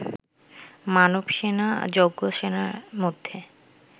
মাধবসেনা, যজ্ঞসেনার মধ্যে